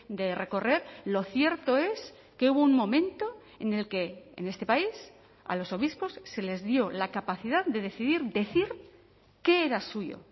de recorrer lo cierto es que hubo un momento en el que en este país a los obispos se les dio la capacidad de decidir decir qué era suyo